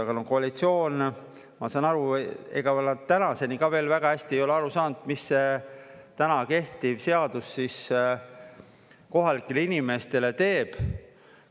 Aga, noh, koalitsioon, ma saan aru, ega tänaseni ka veel väga hästi ei ole aru saanud, mis see täna kehtiv seadus siis kohalikele inimestele teeb.